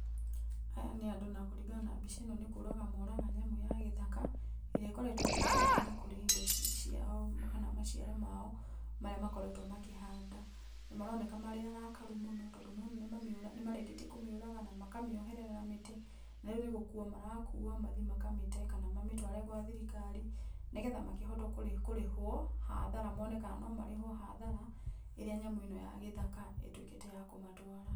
Aya nĩ andũ na kũringana na mbica ĩno nĩ kũraga moraga nyamũ ya gĩthaka, ĩrĩa ĩkoretwo ĩkĩmagia na kũrĩa indo ci ciao kana maciaro mao marĩa makoretwo makĩhanda. Nĩ maroneka marĩ arakaru mũno tondũ nĩ ũrona nĩ mamĩũra nĩ marĩkĩtie kũmĩũraga na makamĩoherera na mĩtĩ narĩu nĩgũkua marakuwa mathiĩ makamĩte kana mamĩtware gwa thirikari nĩgetha makĩhote kũ kũrĩhwo hathara mone kana nomarĩhwo hathara ĩrĩa nyamũ ĩno ya gĩthaka ĩtwĩkĩte ya kũmatwara.